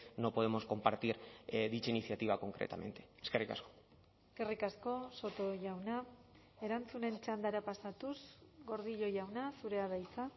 no podemos compartir dicha iniciativa concretamente eskerrik asko eskerrik asko soto jauna erantzunen txandara pasatuz gordillo jauna zurea da hitza